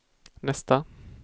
nästa